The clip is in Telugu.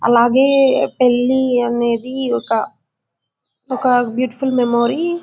అలాగే పెళ్లి అనేది ఒక ఒక బీయూటిఫుల్ మెమరీ .